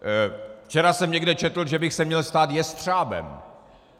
Včera jsem někde četl, že bych se měl stát jestřábem.